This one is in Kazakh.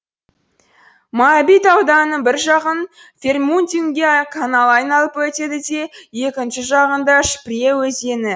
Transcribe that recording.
моабит ауданының бір жағын фербиндунге каналы айналып өтеді де екінші жағында шпрее өзені